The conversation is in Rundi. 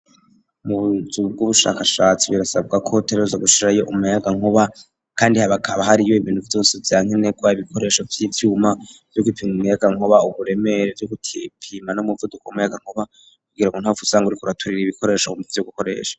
Munzu bw'ubushakashatsi birasabwa ko bategerezwa gushirayo umuyagankuba, kandi hakaba hariyo ibintu vyose vyankenerwa, ibikoresho vy'ivyuma vyogupima umuyagankuba, uburemere, vyo gupima n'umuvuduko w'umuyagankuba kugira go ntuhave usanga uriko uraturira ibikoresho vyo gukoresha.